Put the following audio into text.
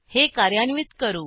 हे कार्यान्वित करू